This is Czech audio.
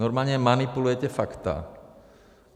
Normálně manipulujete fakta.